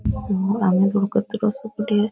सामने कचरो सो पड़े है।